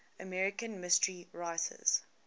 american mystery writers